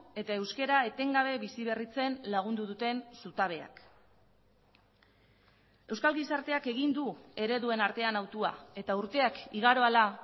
eta euskara etengabe bizi berritzen lagundu duten zutabeak euskal gizarteak egin du ereduen artean hautua eta urteak igaro ahala